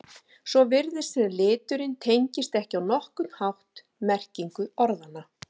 Svo virtist sem liturinn tengdist ekki á nokkurn hátt merkingu orðanna.